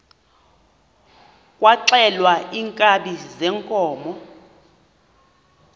kwaxhelwa iinkabi zeenkomo